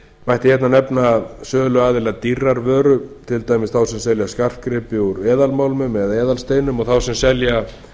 mætti hér nefna söluaðila dýrrar vöru til dæmis þá sem selja skartgripi úr eðalmálmum og eðalsteinum og þá sem selja